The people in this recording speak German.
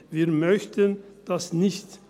Das möchten wir nicht.